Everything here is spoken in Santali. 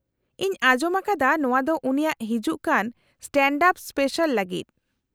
-ᱤᱧ ᱟᱸᱡᱚᱢ ᱟᱠᱟᱫᱟ ᱱᱚᱶᱟ ᱫᱚ ᱩᱱᱤᱭᱟᱜ ᱦᱤᱡᱩᱜ ᱠᱟᱱ ᱥᱴᱮᱸᱰᱼᱟᱯ ᱥᱯᱮᱥᱟᱞ ᱞᱟᱜᱤᱫ ᱾